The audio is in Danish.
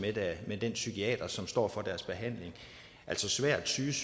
med den psykiater som står for deres behandling altså svært psykisk